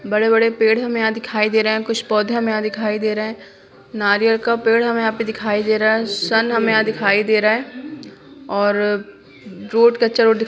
बड़े-बड़े पेड़ हमें यहाँ दिखाई दे रहे हैं कुछ पौधे हमें यहाँ दिखाई दे रहे हैं नारियल का पेड़ हमें यहाँ पे दिखाई दे रहा है सन हमें यहाँ दिखाई दे रहा है और रोड कच्चा रोड दिखाई--